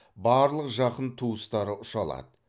барлық жақын туыстары ұша алады